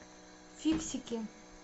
фиксики